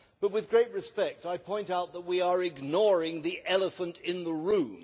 But with great respect, I point out that we are ignoring the elephant in the room.